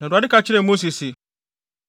Na Awurade ka kyerɛɛ Mose se,